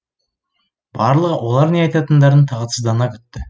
барлығы олар не айтатындарын тағатсыздана күтті